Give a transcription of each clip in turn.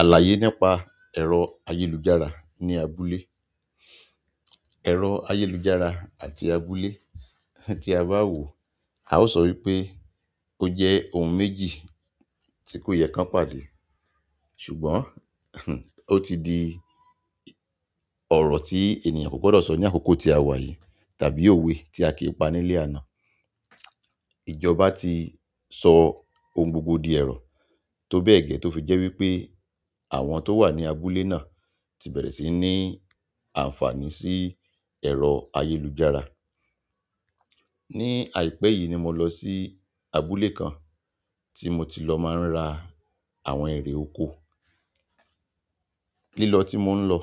Àlàyé nípa ẹ̀rọ ayélujára ní abúlé. Ẹ̀rọ ayélujára àti abúlé tí a bá wò, a ó sọ wípé ó jẹ́ ohun méjì tí kò yẹ kán pàdé. Ṣùgbọ́n ó ti di ọ̀rọ̀ tí ènìyàn kò gbọ́dọ̀ sọ ní àkókò tí a wà yìí tàbí òwe tí a kì pa nílé àná. Ìjọba ti so ohun gbogbo di ero, tobe ge to fi je wípé àwọn to wa ni abúlé náà, ti bere si ni àǹfààní si ero ayélujára. Ni àìpẹ́ yìí ni mo lọ sí abúlé kan tí mo ti lọ máa ń ra àwọn ẹ̀rẹ̀ oko. Lílọ tí mò ń lọ,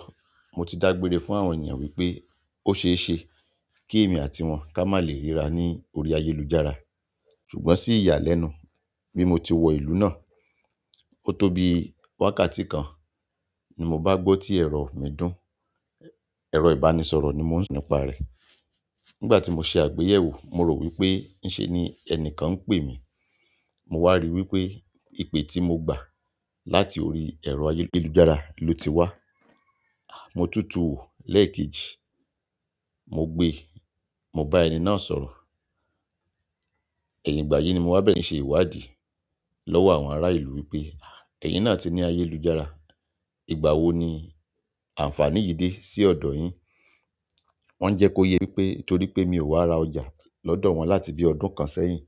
mo ti dágbére fún àwọn ènìyàn wípé ó ṣeéṣe kí èmi àti wọn ká má lè ríra ní orí ayélujára. Ṣùgbọ́n sí ìyàlẹ́nu bí mo ti wọ ìlú náà, ó tó bí wákàtí kan ni mo bá gbó tí ẹ̀rọ mi dùn. Ẹ̀rọ ìbánisọ̀rọ̀ ni mò ń sọ̀rọ̀ nípa rẹ̀. Nígbà tí mo ṣe àgbéyẹ̀wò, mo rò wípé ń ṣe ni ẹni kan ń pè mí. Mo wá rí wípé ìpè tí mo gbà láti orí ẹ̀rọ ayélujára ló ti wá. Mo tu tùn wò lẹ́ẹ̀kejì, mo gbe, mo bá ẹni náà sọ̀rọ̀. Ẹ̀yin ìgbà yìí ni mo wá bẹ̀rẹ̀ sí ṣe ìwádìí lọ́wọ́ àwọn ará ìlú wípé, "Ẹ̀yin náà ti ní ayélujára, ìgbà wo ni àǹfààní yìí dé sí ọ̀dọ̀ yín?" Wọ́n jẹ́ kó yé mi wípé torí pé mi ò wá ra ọjà lọ́dọ̀ wọn láti bí ọdún kan sẹ́yìn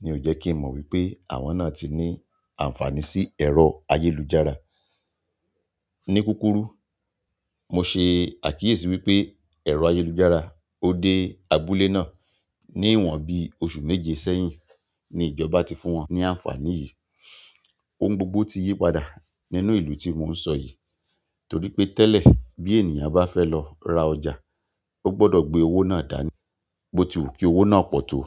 ni ò jẹ́ kí n mọ̀ wípé àwọn náà ti ní àǹfààní sí ẹ̀rọ ayélujára. Ni kúrúkù, mo ṣe àkíyèsí wípé ẹ̀rọ ayélujára ó dé abúlé náà ní ìwọ̀n bí oṣù méje sẹ́yìn ní ìjọba ti fún wọn ní àǹfààní yìí. Ohun gbogbo ti yípadà nínú ìlú tí mò ń sọ yìí torí pé tẹ́lẹ̀ bí ènìyàn bá fẹ́ lọ ra ọjà, ó gbọ́dọ̀ gbé owó náà dání, bó tu kí owó náà pọ̀ tó.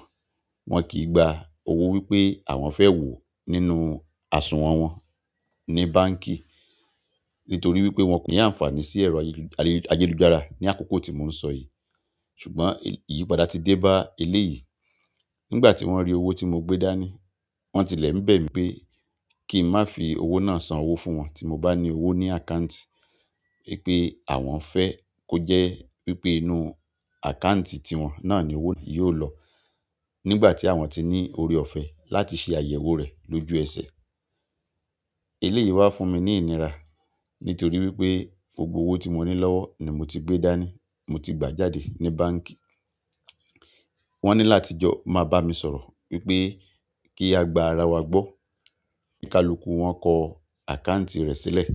Wọn kì gba owó wípé àwọn fẹ́ wò nínú àsùnwọ̀n wọn ní báǹkì nítorí wípé wọn kò ní àǹfààní sí ẹ̀rọ ayélujára ní àkókò tí mò ń sọ yìí. Ṣùgbọ́n ìyípadà ti dé bá ilé yìí. Nígbà tí wọ́n rí owó tí mo gbé dání, wọ́n tilẹ̀ ń bẹ̀ mí pé kí ń má fi owó náà san owó fún wọn tí mo bá ní owó ní àkáǹtì. Wípé àwọn fẹ́ kó jẹ́ wípé inú àkáǹtì ti wọn náà ni owó náà yóò lọ nígbà tí àwọn ti ní ọ̀rẹ́ ọ̀fẹ́ láti ṣe àyẹ̀wò rẹ̀ lójú ẹsẹ̀. Ilé yìí wá fún mi ní ìnira nítorí wípé gbogbo owó tí mo ní lọ́wọ́ ni mo ti gbé dání, mo ti gbà jáde ní báǹkì. Wọ́n ní láti jọ máa bá mi sọ̀rọ̀ wípé kí a gba ara wa gbọ́. Kálukù wọn kọ àkáǹtì rẹ̀ sílẹ̀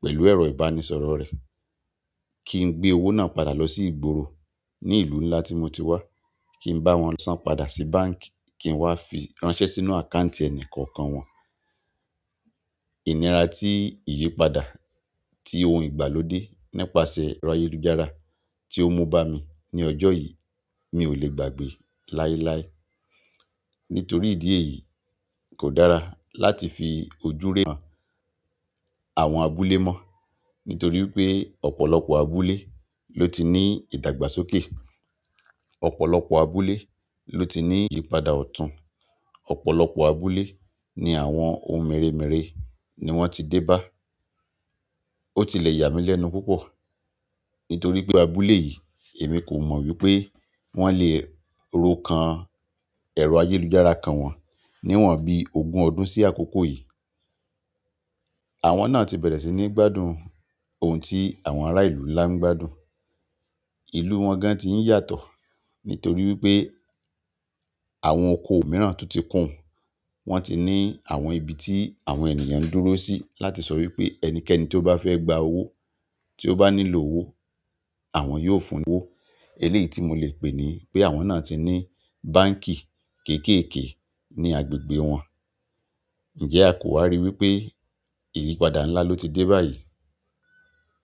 pẹ̀lú ẹ̀rọ ìbánisọ̀rọ̀ rẹ̀ kí n gbé owó náà padà lọ sí ìgboro ní ìlú ńlá tí mo ti wá, kí n bá wọn san padà sí báǹkì kí n wá fi ránṣẹ́ sínú àkáǹtì ẹni kọ̀ọ̀kan wọn. Ìnira tí ìyípadà tí oun ìgbàlódé nípasẹ̀ ayélujára tí ó mú bá mi ní ọjọ́ yìí mi ò lè gbàgbé láéláé. Nítorí ìdí èyí kò dára láti fi ojú ríran àwọn abúlé mọ́. Nítorí wípé ọ̀pọ̀lọpọ̀ abúlé lo ti ni idagba sókè, ọ̀pọ̀lọpọ̀ abúlé lo ti ni iyipada ọ̀tún, ọ̀pọ̀lọpọ̀ abúlé ni àwọn ohun meremere ni won ti de ba. Ó tilẹ̀ yà mí lẹ́nu púpọ̀ nítorí pé abúlé yìí èmi kò mọ̀ wípé wọ́n le ro kan ẹ̀rọ ayélujára kan wọn ní ìwọ̀n bí ogún ọdún sí àkókò yìí. Àwọn náà ti bẹ̀rẹ̀ sí ní gbádùn oun tí àwọn ará ìlú ńlá ń gbádùn. Ìlú wọn gan tí ń yàtọ̀ nítorí wípé àwọn oko mìíràn tún ti kún. Wọn ti ní àwọn ibi tí àwọn ènìyàn ń dúró sí láti sọ wípé ẹnikẹ́ni tó bá fẹ́ gba owó, tí ó bá nílò owó àwọn yóò fún ní owó. Ilé yìí tí mo lè pè ní pé àwọn náà ti ní báǹkì kéékèèké ní agbègbè wọn. Ǹjẹ́ a kò wá rí wípé ìyípadà ńlá ló ti dé báyìí?